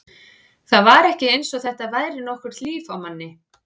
Það var ekki eins og þetta væri nokkurt líf á manni.